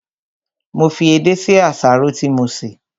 Mo fi edé sí àsáró tí mo sè